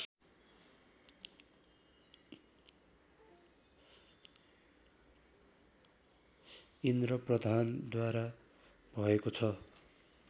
इन्द्र प्रधानद्वारा भएको छ